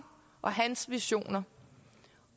og hans visioner